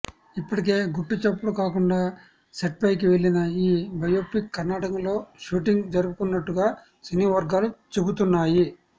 ఇప్పటికే గుట్టుచప్పుడు కాకుండా సెట్స్పైకి వెళ్లిన ఈ బయోపిక్ కర్ణాటకలో షూటింగ్ జరుపుకుంటున్నట్టుగా సినీవర్గాలు చెబుతున్నాయి